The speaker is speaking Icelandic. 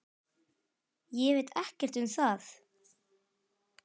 Ég veit ekkert um það?